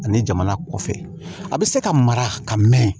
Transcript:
Ani jamana kɔfɛ a bɛ se ka mara ka mɛn